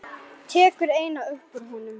Tekur eina upp úr honum.